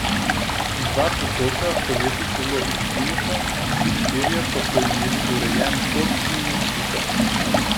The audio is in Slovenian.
Dva potoka poleti celo izgineta, vsi štirje pa so imeli urejen tok in nasipe.